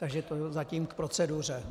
Takže tolik zatím k proceduře.